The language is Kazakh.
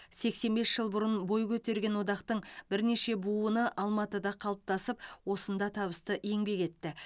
сексен бес жыл бұрын бой көтерген одақтың бірнеше буыны алматыда қалыптасып осында табысты еңбек етті